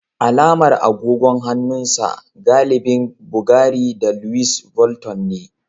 Alamar agogon hannun sa galibi Bvgary da Luis Vulton ne